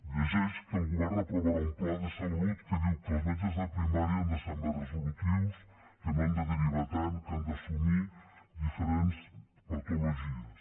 llegeix que el govern aprovarà un pla de salut que diu que els metges de primària han de ser més resolutius que no han de derivar tant que han d’assumir diferents patologies